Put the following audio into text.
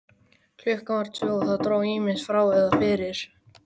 Klukkan var tvö, og það dró ýmist frá eða fyrir.